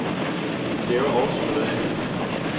De laver også noget andet.